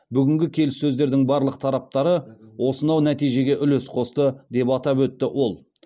бүгінгі келіссөздердің барлық тараптары осынау нәтижеге үлес қосты деп атап өтті ол